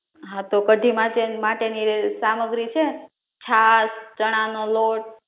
હા તો કઢી માટે માટે ની સામગ્રી છે છાસ ચણા નો લોટ